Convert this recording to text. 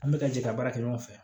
An bɛ ka jɛ ka baara kɛ ɲɔgɔn fɛ